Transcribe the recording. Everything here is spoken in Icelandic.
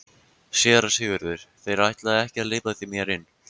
SÉRA SIGURÐUR: Þeir ætluðu ekki að hleypa mér inn.